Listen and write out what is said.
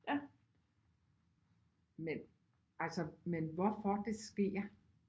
Men altså men hvorfor det sker